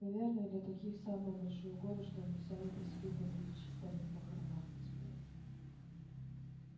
наверное для таких самое большое горе что они сами по себе попричитать на похоронах не смогут